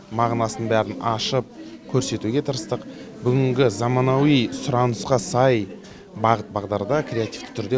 мағынасын бәрін ашып көрсетуге тырыстық бүгінгі заманауи сұранысқа сай бағыт бағдарда креативті түрде